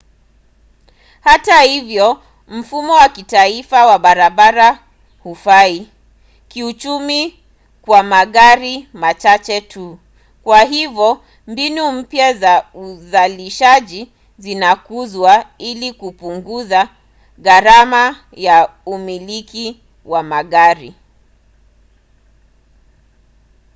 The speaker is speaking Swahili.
hata hivyo mfumo wa kitaifa wa barabara hufai kiuchumi kwa magari machache tu kwa hivyo mbinu mpya za uzalishaji zinakuzwa ili kupunguza gharama ya umiliki wa magari